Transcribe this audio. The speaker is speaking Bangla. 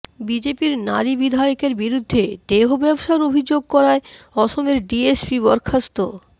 বিজেপির নারী বিধায়কের বিরুদ্ধে দেহ ব্যবসার অভিযোগ করায় অসমের ডিএসপি বরখাস্ত